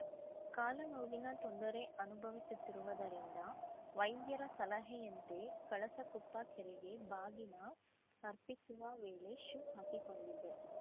ಕಾಲು ನೋವಿನ ತೊಂದರೆ ಅನುಭವಿಸುತ್ತಿರುವುದರಿಂದ ವೈದ್ಯರ ಸಲಹೆಯಂತೆ ಕಳಸಕೊಪ್ಪ ಕೆರೆಗೆ ಬಾಗಿನ ಅರ್ಪಿಸುವ ವೇಳೆ ಶೂ ಹಾಕಿಕೊಂಡಿದ್ದೆ